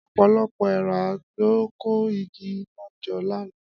Ọ̀pọ̀lọpọ̀ èèrà ló ń kó igi iná jọ lánàá.